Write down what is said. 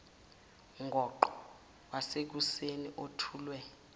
ngoqo wasekuseni othulwe